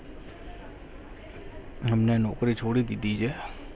અમને નોકરી છોડી દીધી છે.